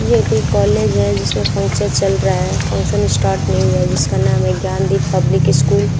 ये कोई कॉलेज है जिसमें फंक्शन चल रहा है फंक्शन स्टार्ट नहीं हुआ जिसका नाम है ज्ञानदीप पब्लिक स्कूल ।